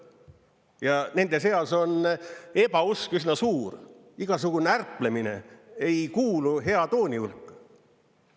Ja nende seas on ebausk üsna suur, igasugune ärplemine ei kuulu hea tooni hulka.